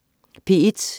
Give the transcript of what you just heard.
P1: